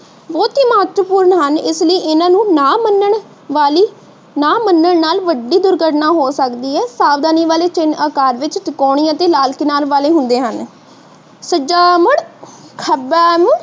ਮਹੱਤਵਪੂਰਨ ਹਨ। ਇਸਲਈ ਇਹਨਾਂ ਨੂੰ ਨਾ ਮਨਣ ਨਾਲ ਵੱਡੀ ਦੁਰਘਟਨਾ ਹੋ ਸਕਦੀ ਹੈ। ਸਾਵਧਾਨੀ ਵਾਲੇ ਚਿਹਨ ਆਕਾਰ ਵਿਚ ਤਿਕੋਣੀ ਅਤੇ ਲਾਲ ਕਿਨਾਰ ਵਾਲੇ ਹੁੰਦੇ ਹਨ। ਸੱਜਾ ਮੁੜ, ਖੱਬਾ ਮੁੜ